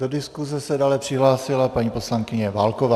Do diskuse se dále přihlásila paní poslankyně Válková.